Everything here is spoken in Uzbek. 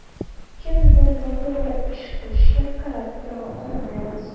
Kimdir noto‘g‘ri ish qilishiga qarab tura olmaymiz.